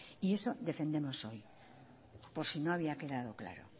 y eso defendemos hoy por si no había quedado claro